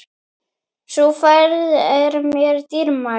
Sú ferð er mér dýrmæt.